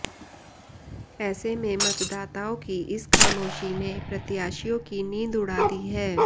ऐसे में मतदाताओं की इस खामोशी ने प्रत्याशियों की नींद उड़ा दी है